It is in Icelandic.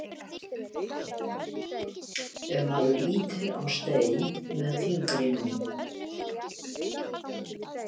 ef maður ýtir á stein með fingrinum